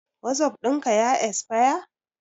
Wasup ɗin ka ya esfaya?